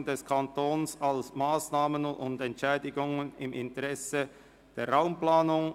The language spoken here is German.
«Leistungen des Kantons an Massnahmen und Entschädigungen im Interesse der Raumplanung;